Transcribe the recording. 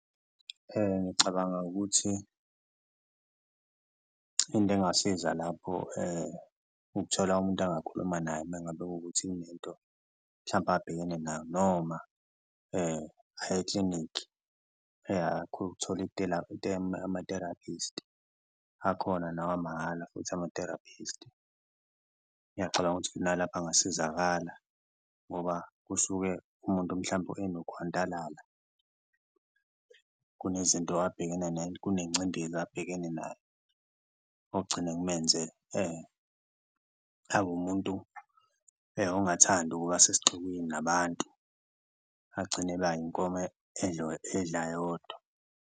Ngiyacabanga ukuthi into engasiza lapho ukuthola umuntu angakhuluma naye uma ngabe kuwukuthi kunento mhlawumpe abhekene nayo noma aye eklinikhi, ukuthola ama-therapist akhona nawamahhala futhi ama-therapist. Ngiyacabanga ukuthi nalapho angasizakala ngoba kusuke umuntu mhlawumbe enokhwantalala, kunezinto abhekene kunencindezi abhekene nayo, okugcine kumenze abe umuntu ongathandi ukuba sesixukwini nabantu, agcine eba inkomo edla yodwa.